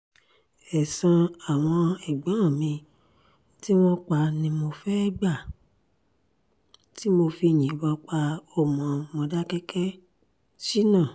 ẹ̀san àwọn ẹ̀gbọ́n mi tí wọ́n pa ni mo fẹ́ẹ́ gbà tí mo fi yìnbọn pa ọmọ mòdákẹ́kẹ́- sina